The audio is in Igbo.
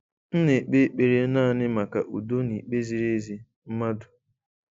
M na-ekpe ekpere naanị maka udo na ikpe ziri ezi, mmadụ.